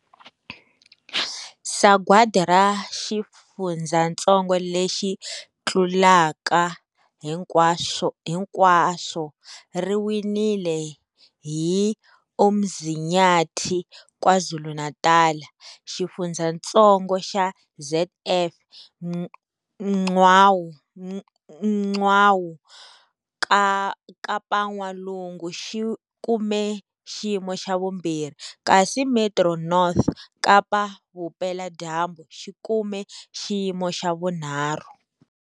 Sagwadi ra Xifundzatsongo lexi Tlulaka Hinkwaswo ri winiwile hi Umzinyathi, KwaZuluNatal. Xifundzatsongo xa ZF Mgcawu, KapaN'walungu, xi kume xiyimo xa vumbirhi, kasi Metro North, Kapa-Vupela dyambu, xi kume xiyimo xa vunharhu.